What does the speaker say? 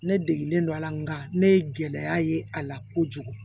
Ne degelen don a la nka ne ye gɛlɛya ye a la kojugu